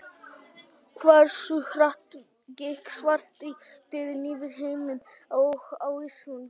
Hversu hratt gekk svartidauði yfir í heiminum og á Íslandi?